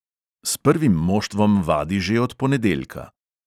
S prvim moštvom vadi že od ponedeljka.